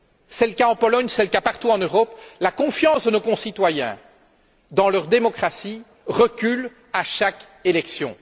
C'est le cas en Pologne comme partout en Europe la confiance de nos concitoyens dans leur démocratie recule à chaque élection.